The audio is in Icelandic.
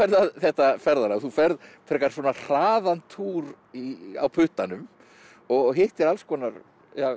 þetta ferðalag þú ferð frekar hraðan túr á puttanum og hittir alls konar